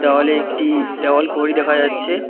দেওয়ালে একটি দেওয়াল ঘড়ি দেখা যাচ্ছে।